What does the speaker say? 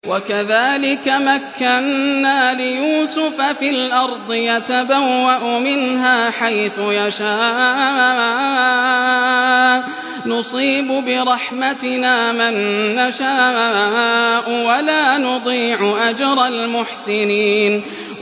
وَكَذَٰلِكَ مَكَّنَّا لِيُوسُفَ فِي الْأَرْضِ يَتَبَوَّأُ مِنْهَا حَيْثُ يَشَاءُ ۚ نُصِيبُ بِرَحْمَتِنَا مَن نَّشَاءُ ۖ وَلَا نُضِيعُ أَجْرَ الْمُحْسِنِينَ